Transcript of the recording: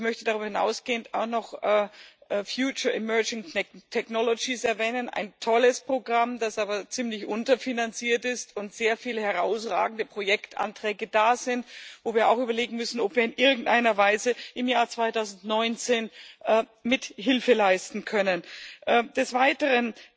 Ich möchte darüber hinausgehend auch noch Future Emergence Technologies erwähnen ein tolles Programm, das aber ziemlich unterfinanziert ist und bei dem es sehr viele herausragende Projektanträge gibt, wo wir auch überlegen müssen, ob wir in irgendeiner Weise im Jahr 2019 Mithilfe leisten können. Des Weiteren